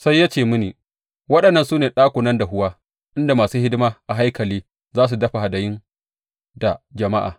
Sai ya ce mini, Waɗannan su ne ɗakunan dahuwa inda masu hidima a haikali za su dafa hadayun da jama’a.